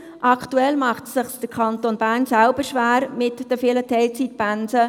Aktuell mache es sich der Kanton Bern selber schwer mit den vielen Teilzeitpensen.